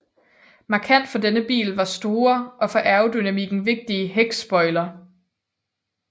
Markant for denne bil var den store og for aerodynamikken vigtige hækspoiler